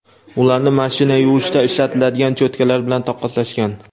ularni mashina yuvishda ishlatiladigan cho‘tkalar bilan taqqoslashgan.